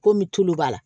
Komi tulu b'a la